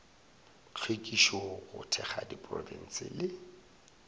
hlwekišo go thekga diprofense le